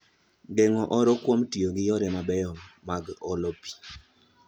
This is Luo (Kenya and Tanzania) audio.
Geng'o oro kuom tiyo gi yore mabeyo mag olo pi